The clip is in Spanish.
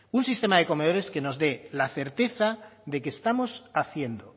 un sistema de comedores que nos dé la certeza de que estamos haciendo